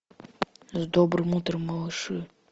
с добрым утром малыши